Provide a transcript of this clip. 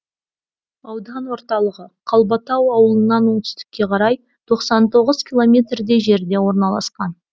аудан орталығы қалбатау ауылынан оңтүстікке қарай тоқсан тоғыз километрдей жерде орналасқан